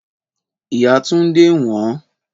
Ìyá Túndé ń wòn ón.